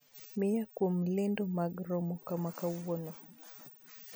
Miya kuom lendo mag romo makawuono